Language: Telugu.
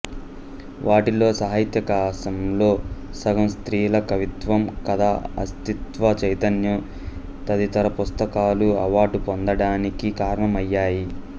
వాటిల్లో సాహిత్యాకాశంలో సగం స్త్రీల కవిత్వం కథ అస్తిత్వ చైతన్యం తదితర పుస్తకాలు అవార్డు పొందడానికి కారణమయ్యాయి